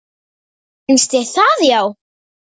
Finnst þér það já.